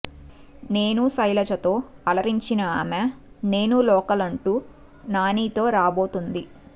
నేను శైలజ తో అలరించిన ఆమె నేను లోకల్ అంటూ నానీ తో రాబోతోంది